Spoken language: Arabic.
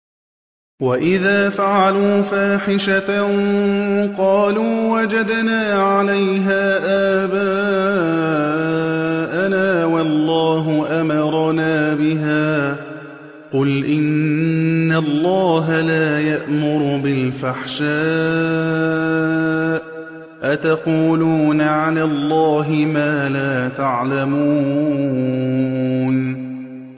وَإِذَا فَعَلُوا فَاحِشَةً قَالُوا وَجَدْنَا عَلَيْهَا آبَاءَنَا وَاللَّهُ أَمَرَنَا بِهَا ۗ قُلْ إِنَّ اللَّهَ لَا يَأْمُرُ بِالْفَحْشَاءِ ۖ أَتَقُولُونَ عَلَى اللَّهِ مَا لَا تَعْلَمُونَ